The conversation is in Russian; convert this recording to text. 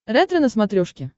ретро на смотрешке